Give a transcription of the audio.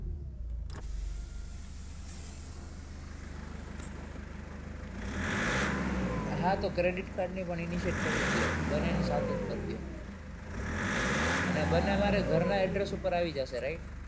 હા તો credit card ની પણ initiate કરી જ દયો બન્નેની સાથે જ કરી દયો અને બન્ને મારે ઘરના address ઉપર આવી જાશે right